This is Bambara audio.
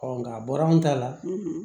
nka a bɔra an ta la